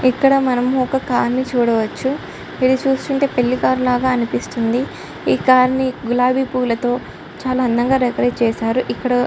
ఇక్కడ మనం ఒక కారుని చూడవచ్చు ఇది చూస్తుంటే పెళ్లి కారు లాగా అనిపిస్తుంది ఈ కారుని గులాబి పూలతో చాలా అందంగా డెకరేట్ చేశారు ఇక్కడ --